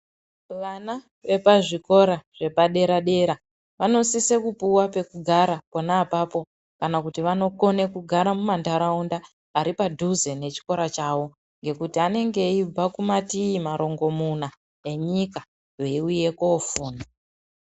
Vana vepazvikora zvepadera dera vanosise kupiwa pemugara pona apapo kana kuti vanokone kugara mumandaraunda ari padhuze nechikora chavo ngekuti anenge eibva kumativi marongo muna enyika veiuya kuwofunda.